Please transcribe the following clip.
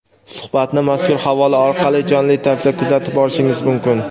Suhbatni mazkur havola orqali jonli tarzda kuzatib borishingiz mumkin.